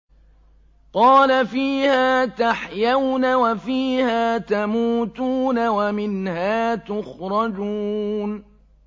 قَالَ فِيهَا تَحْيَوْنَ وَفِيهَا تَمُوتُونَ وَمِنْهَا تُخْرَجُونَ